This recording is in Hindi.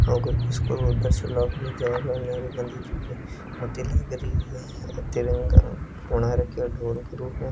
एक स्कूल को नेहरू गाँधी जी की मूर्ति लगी हुई है तिरंगा बना रखा है ढोल के रूप में --